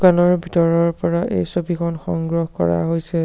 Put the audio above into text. দোকানৰ ভিতৰৰ পৰা এই ছবিখন সংগ্ৰহ কৰা হৈছে।